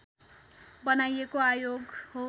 बनाइएको आयोग हो